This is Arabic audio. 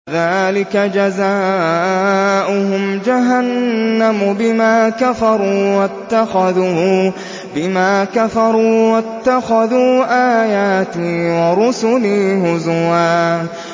ذَٰلِكَ جَزَاؤُهُمْ جَهَنَّمُ بِمَا كَفَرُوا وَاتَّخَذُوا آيَاتِي وَرُسُلِي هُزُوًا